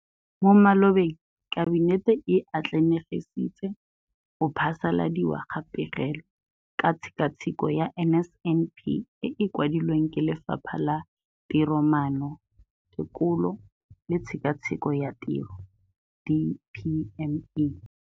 Mo malobeng Kabinete e atlenegisitse go phasaladiwa ga Pegelo ka Tshekatsheko ya NSNP e e kwadilweng ke Lefapha la Tiromaano, Tekolo le Tshekatsheko ya Tiro DPME.